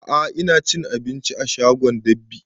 A'a ina cin abinci a shagon dab'i